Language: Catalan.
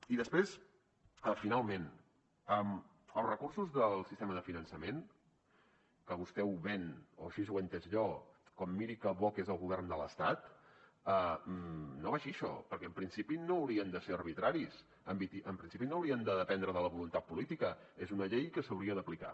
i després finalment els recursos del sistema de finançament que vostè ho ven o així ho he entès jo com miri que bo que és el govern de l’estat no va així això perquè en principi no haurien de ser arbitraris en principi no haurien de dependre de la voluntat política és una llei que s’hauria d’aplicar